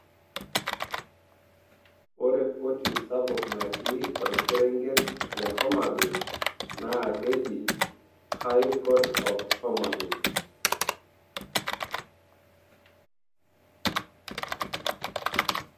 ore koti sapuk natii orkerenget le homabay naa keji high court of homabay..